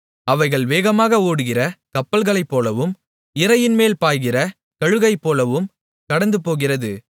அவைகள் வேகமாக ஓடுகிற கப்பல்களைப்போலவும் இரையின்மேல் பாய்கிற கழுகைப்போலவும் கடந்துபோகிறது